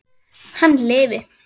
Hann lifi!